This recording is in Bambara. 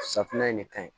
Safunɛ in de ka ɲi